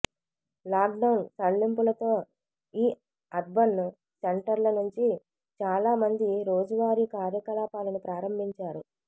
lockdown సడలింపులతో ఈ urban సెంటర్ల నుంచి చాలా మంది రోజువారీ కార్యకలాపాలను ప్రారంభించారు